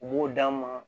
U b'o d'an ma